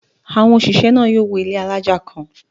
Àwọn òṣìṣẹ́ náà yóò wọ ilé alájà kàn.